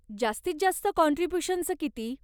जास्तीत जास्त काँट्रिब्यूशनचं किती ?